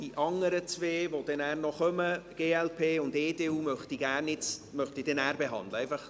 Die anderen beiden der glp und der EDU möchte ich aber nachher behandeln.